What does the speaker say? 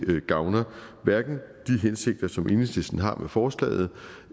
gavner de hensigter som enhedslisten har med forslaget